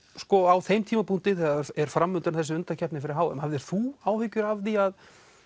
á þeim tímapunkti þegar er framundan þessi undankeppni fyrir h m hafðir þú áhyggjur af því að